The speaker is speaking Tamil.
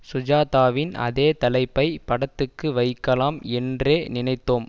சுஜாதாவின் அதே தலைப்பை படத்துக்கு வைக்கலாம் என்றே நினைத்தோம்